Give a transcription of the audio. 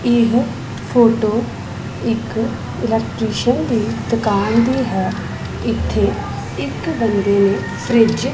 ਇਹ ਫੋਟੋ ਇੱਕ ਇਲੈਕਟਰੀਸ਼ਨ ਦੀ ਦੁਕਾਨ ਦੀ ਹੈ ਇੱਥੇ ਇੱਕ ਬੰਦੇ ਨੇ ਫਰਿਜ --